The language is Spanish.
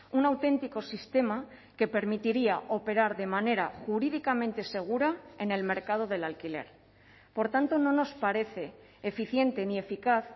un auténtico sistema que permitiría operar de manera jurídicamente segura en el mercado del alquiler por tanto no nos parece eficiente ni eficaz